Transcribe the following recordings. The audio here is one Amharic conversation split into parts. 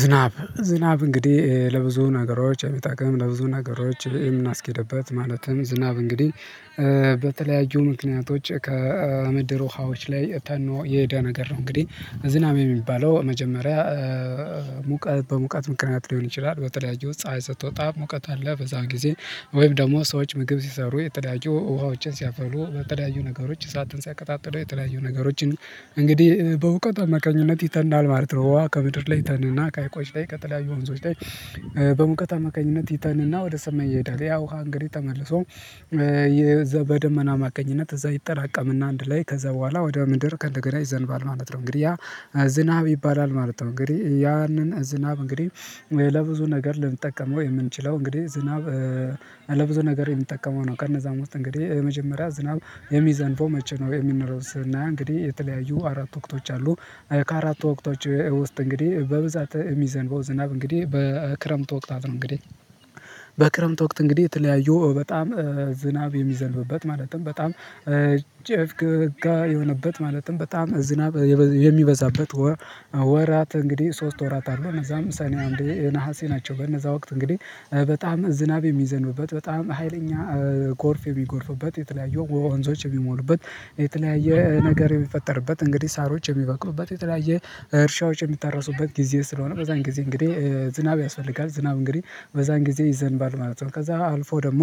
ዝናብ ዝናብ እንግዲህ ለብዙ ነገሮች የሚጠቅም ለብዙ ነገሮች የምናስኬድበት ማለትም ዝናብ እንግዲህ በተለያዩ ምክንያቶች ከምድር ውሃዎች ላይ ተኖ የሄደ ነገር ነው። እንግዲህ ዝናብ የሚባለው መጀመሪያ ሙቀት በሙቀት ምክንያት ሊሆን ይችላል በተለያዩ ፀሀይ ስትወጣ ሙቀት አለ በዛ ጊዜ ወይም ደግሞ ሰዎች ምግብ ሲሰሩ የተለያዩ ውሃዎችን ሲያፈሉ በተለያዩ ነገሮች እሳትን ሲያቀጣጥሉ የተለያዩ ነገሮችን እንግዲህ በሙቀት አማካኝነት ይተናል ማለት ነው። ውሃ ከምድር ላይ ይተንና ከሀይቆች ላይ ከተለያዩ ወንዞች ላይ በሙቀት አማካኝነት ይተንና ወደ ሰማይ ይሄዳል። ያ ውሃ እንግዲህ ተመልሶ በደመና አማካኝነት እዛ ይጠራቀምና አንድ ላይ ከዛ በኋላ ወደ ምድር ከእንደገና ይዘንባል ማለት ነው። እንግዲህ ያ ዝናብ ይባላል ማለት ነው። እንግዲህ ያንን ዝናብ እንግዲህ ለብዙ ነገር ልንጠቀመው የምንችለው እንግዲህ ዝናብ ለብዙ ነገር የምንጠቀመው ነው። ከነዛም ውስጥ እንግዲህ የመጀመሪያ ዝናብ የሚዘንበው መቼ ነው የሚኖረውስ? እና ስናይ እንግዲህ የተለያዩ አራት ወቅቶች አሉ። ከአራት ወቅቶች ውስጥ እንግዲህ በብዛት የሚዘንበው ዝናብ እንግዲህ በክረምት ወቅታት ነው። እንግዲህ በክረምት ወቅት እንግዲህ የተለያዩ በጣም ዝናብ የሚዘንብበት ማለትም በጣም ጭፍግፍ የሆነበት ማለትም በጣም ዝናብ የሚበዛበት ወር ወራት እንግዲህ ሶስት ወራት አሉ እነዛም ሰኔ አንዴ ነሀሴ ናቸው። በነዛ ወቅት እንግዲህ በጣም ዝናብ የሚዘንብበት በጣም ሀይለኛ ጎርፍ የሚጎርፉበት የተለያዩ ወንዞች የሚሞሉበት የተለያየ ነገር የሚፈጠርበት እንግዲህ ሳሮች የሚበቅሉበት የተለያየ እርሻዎች የሚታረሱበት ጊዜ ስለሆነ በዛን ጊዜ እንግዲህ ዝናብ ያስፈልጋል። ዝናብ እንግዲህ በዛን ጊዜ ይዘንባል ማለት ነው። ከዛ አልፎ ደግሞ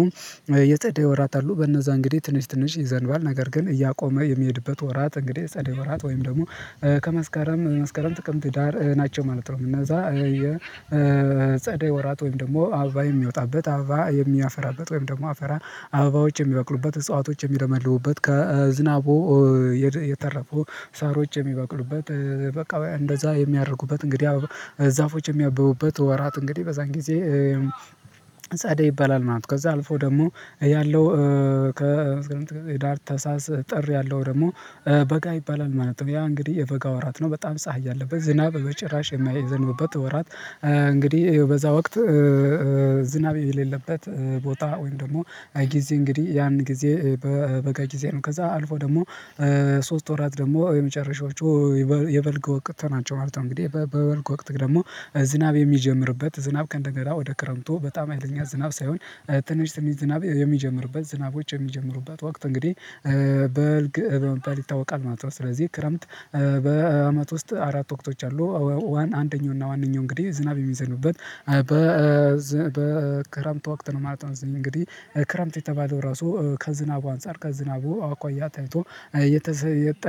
የፀደይ ወራት አሉ በእነዛ እንግዲህ ትንሽ ትንሽ ይዘንባል ነገር ግን እያቆመ የሚሄድበት ወራት እንግዲህ ጸደይ ወራት ወይም ደግሞ ከመስከረም መስከረም ጥቅምት ህዳር ናቸው ማለት ነው። እነዛ የፀደይ ወራት ወይም ደግሞ አበባ የሚወጣበት አበባ የሚያፈራበት ወይም ደግሞ አፈራ አበባዎች የሚበቅሉበት እጽዋቶች የሚመለምሉበት ከዝናቡ የተረፉ ሳሮች የሚበቅሉበት በቃ እንደዛ የሚያደርጉበት እንግዲህ ዛፎች የሚያበቡበት ወራት እንግዲህ በዛን ጊዜ ጸደይ ይባላል ማለት ነው። ከዛ አልፎ ደግሞ ያለው ከህዳር ታህሳስ ጥር ያለው ደግሞ በጋ ይባላል ማለት ነው። ያ እንግዲህ የበጋ ወራት ነው በጣም ፀሀይ ያለበት ዝናብ በጭራሽ የማይዘንብበት ወራት። እንግዲህ በዛ ወቅት ዝናብ የሌለበት ቦታ ወይም ደግሞ ጊዜ እንግዲህ ያን ጊዜ በበጋ ጊዜ ነው። ከዛ አልፎ ደግሞ ሶስት ወራት ደግሞ የመጨረሻዎቹ የበልግ ወቅት ናቸው ማለት ነው። እንግዲህ በበልግ ወቅት ደግሞ ዝናብ የሚጀምርበት ዝናብ ከእንደገና ወደ ክረምቱ በጣም ሀይለኛ ዝናብ ሳይሆን ትንሽ ትንሽ ዝናብ የሚጀምርበት ዝናቦች የሚጀምሩበት ወቅት እንግዲህ በልግ በመባል ይታወቃል ማለት ነው። ስለዚህ ክረምት በአመት ውስጥ አራት ወቅቶች አሉ። ዋን አንደኛው እና ዋንኛው እንግዲህ ዝናብ የሚዘኑበት በ በክረምት ወቅት ነው ማለት ነው። እንግዲህ ክረምት የተባለው ራሱ ከዝናቡ አንፃር ከዝናቡ አኳያ ተይቶ የተሰጠ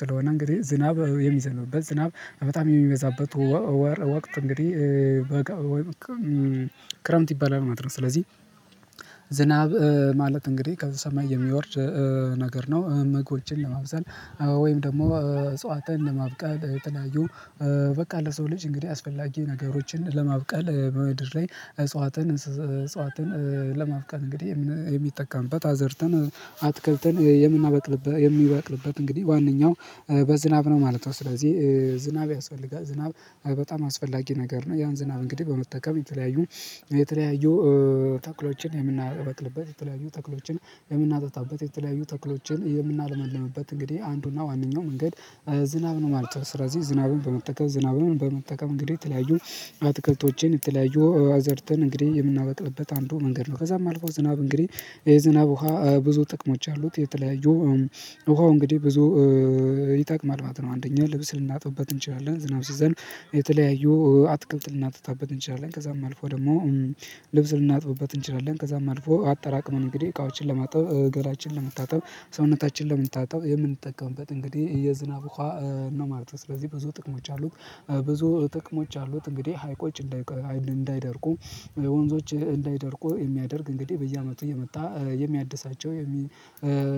ስለሆነ እንግዲህ ዝናብ የሚዘንብበት ዝናብ በጣም የሚበዛበት ወቅት እንግዲህ በጋ ወይም ክረምት ይባላል ማለት ነው። ስለዚህ ዝናብ ማለት እንግዲህ ከዛ ሰማይ የሚወርድ ነገር ነው። ምግቦችን ለማብሰል ወይም ደግሞ እፅዋትን ለማብቀል የተለያዩ በቃ ለሰው ልጅ እንግዲህ አስፈላጊ ነገሮችን ለማብቀል በምድር ላይ እፅዋትን እፅዋትን ለማብቀል እንግዲህ የሚጠቀምበት አዘርተን አትክልትን የምናበቅልበት የሚበቅልበት እንግዲህ ዋነኛው በዝናብ ነው ማለት ነው። ስለዚህ ዝናብ ያስፈልጋል ዝናብ በጣም አስፈላጊ ነገር ነው። ያን ዝናብ እንግዲህ በመጠቀም የተለያዩ የተለያዩ ተክሎችን የምናበቅልበት የተለያዩ ተክሎችን የምናጠጣበት የተለያዩ ተክሎችን የምናለመልምበት እንግዲህ አንዱና ዋነኛው መንገድ ዝናብ ነው ማለት ነው። ስለዚህ ዝናብን በመጠቀም ዝናብን በመጠቀም እንግዲህ የተለያዩ አትክልቶችን የተለያዩ አዘርተን እንግዲህ የምናበቅልበት አንዱ መንገድ ነው። ከዛም አልፎ ዝናብ እንግዲህ የዝናብ ውሃ ብዙ ጥቅሞች አሉት። የተለያዩ ውሃው እንግዲህ ብዙ ይጠቀማል ነው። አንደኛ ልብስ ልናጥብበት እንችላለን። ዝናብ ሲዘንብ የተለያዩ አትክልት ልናጠጣበት እንችላለን። ከዛም አልፎ ደግሞ ልብስ ልናጥብበት እንችላለን። ከዛም አልፎ አጠራቅመን እንግዲህ እቃዎችን ለማጠብ ገላችንን ለመታጠብ ሰውነታችንን ለመታጠብ የምንጠቀምበት እንግዲህ የዝናብ ውሃ ነው ማለት ነው። ስለዚህ ብዙ ጥቅሞች አሉት። ብዙ ጥቅሞች አሉት። እንግዲህ ሀይቆች እንዳይደርቁ ወንዞች እንዳይደርቁ የሚያደርግ እንግዲህ በየአመቱ እየመጣ የሚያድሳቸው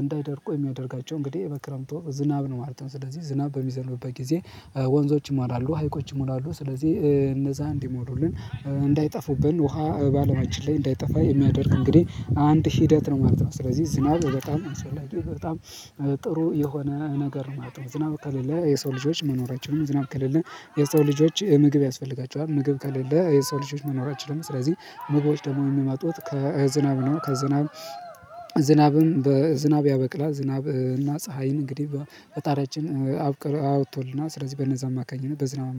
እንዳይደርቁ የሚያደርጋቸው እንግዲህ በክረምቱ ዝናብ ነው ማለት ነው። ስለዚህ ዝናብ በሚዘንብበት ጊዜ ወንዞች ይሞላሉ ሀይቆች ይሞላሉ ስለዚህ እነዛ እንዲሞሉልን እንዳይጠፉብን ውሃ በአለማችን ላይ እንዳይጠፋ የሚያደርግ እንግዲህ አንድ ሂደት ነው ማለት ነው። ስለዚህ ዝናብ በጣም አስፈላጊ በጣም ጥሩ የሆነ ነገር ማለት ነው። ዝናብ ከሌለ የሰው ልጆች መኖራችን ዝናብ ከሌለ የሰው ልጆች ምግብ ያስፈልጋቸዋል። ምግብ ከሌለ የሰው ልጆች መኖር አይችሉም። ስለዚህ ምግቦች ደግሞ የሚመጡት ከዝናብ ነው። ከዝናብ ዝናብም በዝናብ ያበቅላል ዝናብና ፀሀይን እንግዲህ ፈጣሪያችን አውጥቶልናል። ስለዚህ በነዛ አማካኝነት በዝናብ